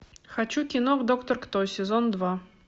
хочу кино доктор кто сезон два